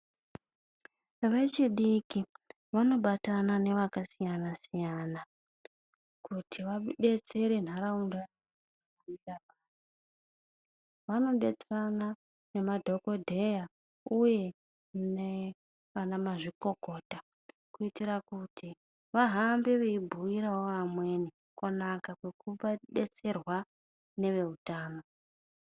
Vechidiki vanobatana nevakasiyana siyana, kuti vabetsere nharaunda yavo. Vanodetserana nemadhokodheya uye nevana mazvikokota kuitire kuti vahambe veibhuirawo vamweni kunaka kwekudetserwa neveutano.